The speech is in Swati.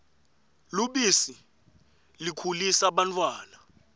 lubisi likhulisa bantfwana